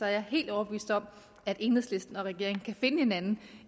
er jeg helt overbevist om at enhedslisten og regeringen kan finde hinanden